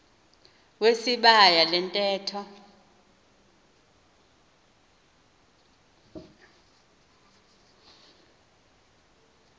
wesibaya le ntetho